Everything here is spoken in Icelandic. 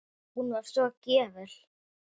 Hún var svo gjöful.